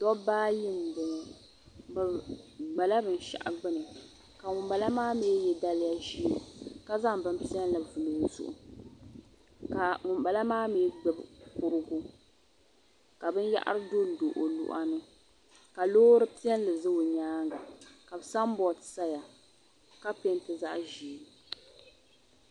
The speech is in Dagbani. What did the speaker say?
Doba ayi n bɔŋɔ bɛ dola bin shaɣu gbuni ŋun bala maami ye daliya ʒɛɛ, ka zaŋ bi piɛli n vuli ɔ zuɣu ka ŋun bala maa mi gbubi kurigu ka bin yara dondo ɔ luɣa ni ka lɔɔri piɛli ʒɛ ɔ nyaaŋa, ka san boad saha, ka pɛɛnti zaɣi ʒɛɛ